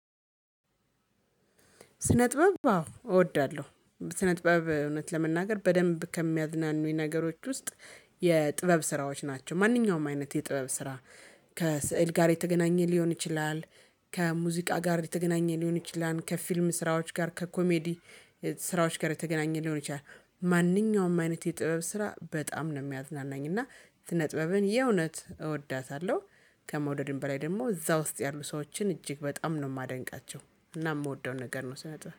ስነጥበብ አዎ እወዳለሁ ስነጥበብ እውነት ለመናገር በደንብ ከሚያዝናኑኝ ነገሮች ውስጥ የጥበብ ስራዎች ናቸው። ማንኛውም አይነት የጥበብ ስራ ከስዕል ጋር የተገናኘ ሊሆን ይችላል። ከሙዚቃ ጋር የተገናኘ ሊሆን ይችላል ከፊልም ስራዎች ጋር ከኮሜዲ ስራዎች ጋር የተገናኘ ሊሆን ይችላል። ማንኛውም አይነት የጥበብ ስራ በጣም ነው የሚያዝናናኝ እና ስነ ጥበብን የእውነት እወዳታለሁ። ከመውደድም በላይ ደግሞ እዛ ውስጥ ያሉ ሰዎችን እጅግ በጣም ነው ማደንቃቸው። እና የምወደው ነገር ነው ስነ ጥበብ